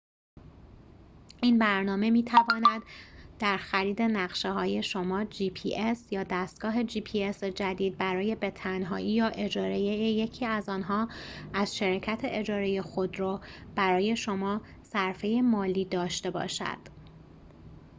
این برنامه می‌تواند در خرید نقشه‌های جدید برای gps یا دستگاه gps شما به تنهایی یا اجاره یکی از آنها از شرکت اجاره خودرو برای شما صرفه مالی داشته باشد